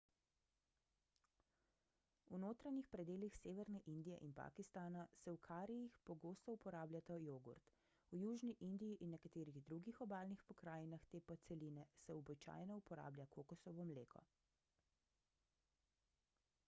v notranjih predelih severne indije in pakistana se v karijih pogosto uporablja jogurt v južni indiji in nekaterih drugih obalnih pokrajinah te podceline se običajno uporablja kokosovo mleko